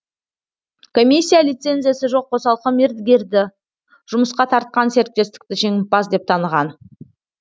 комиссия лицензиясы жоқ қосалқы мердігерді жұмысқа тартқан серіктестікті жеңімпаз деп таныған